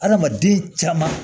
Adamaden caman